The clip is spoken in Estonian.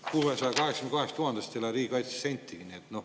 – 682 000-st ei lähe riigikaitsesse sentigi.